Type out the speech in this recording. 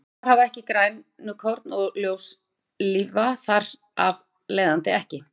Svampar hafa ekki grænukorn og ljóstillífa þar af leiðandi ekki.